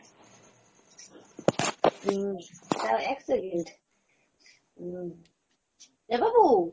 হম দাড়াও এক second, um এ বাবু